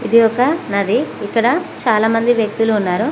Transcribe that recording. ఇది ఒక నది ఇక్కడ చాలా మంది వ్యక్తులు ఉన్నారు.